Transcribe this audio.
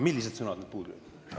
Millised sõnad puudu jäid?